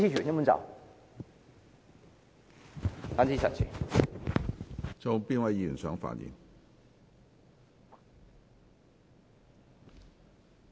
是否有其他議員想發言？